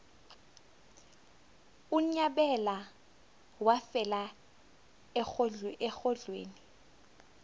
unyabela wafela erholweni